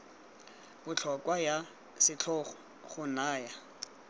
botlhokwa ya setlhogo go naya